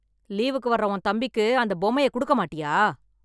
லீவுக்கு வர்ற உன் தம்பிக்கு அந்த பொம்மையை குடுக்க மாட்டியா?